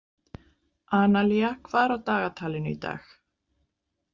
Analía, hvað er á dagatalinu í dag?